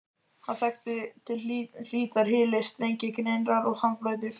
Hann þekkti til hlítar hyli, strengi, grynningar og sandbleytur.